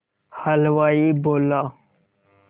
हलवाई बोला